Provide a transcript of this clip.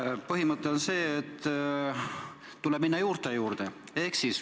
Põhimõte on see, et tuleb minna juurte juurde.